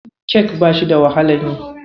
Kek bashi da wahalan yi.